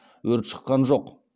өрт шыққан жоқ